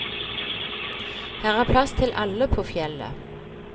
Her er plass til alle på fjellet.